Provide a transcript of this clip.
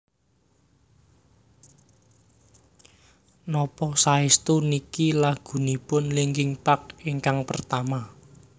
Napa saestu niki lagunipun Linkin Park ingkang pertama